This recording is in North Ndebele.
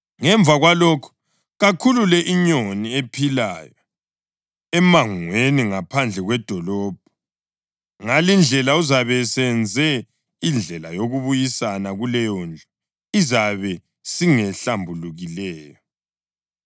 Ngemva kwalokho kakhulule inyoni ephilayo emangweni ngaphandle kwedolobho. Ngalindlela uzabe esenze indlela yokubuyisana kuleyondlu, izabe singehlambulukileyo.”